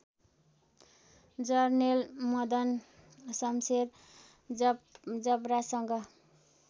Jarnail Madanshamsher जबरासँग